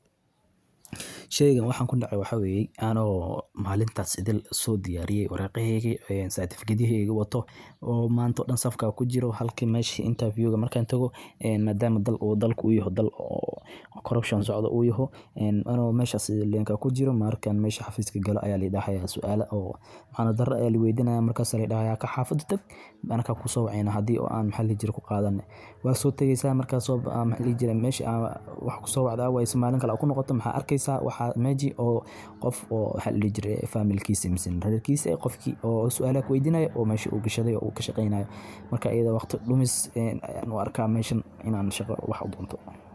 Sheygin, waxaan ku nacaay. Waxa weeyay aanoo maalintaad sidan soo diyaariyay waraaqe heyigi oo saartifiki dii heegi wato oo maanta dhan safka ku jiro halkii meeshee inta fiyuga markaan tago. En madaama dal uuna dal uuna ku yahay dal korupushin socda uuna ku yahay en banobantun. Meesha soolaanka ku jiro markaan meesha Xafiiska gala ayaa liidhaxaya su'aalo oo maana darro ee la weydinayo. Markaad sari dhahaya ka xafuudi tabkana ka ku soo ceyno haddii oo aan maxalli jir ku qaadan. Waan soo tagaysa markaad sababta maxallijiyada. Meeshii wax ku soo wada awayso maalin kala ogo noqoto. Maxa arkaysa waxaa meji oo qof oo halis reeb faamilkiisa. Misi raakiisa qofki oo su'aaloyga weydinaayo oo meesha uu gashado iyo uu ka shaqeynayo marka iyaga waqti dhulimis inuu arka meeshan inaan shegar wax ugu wanaagsan.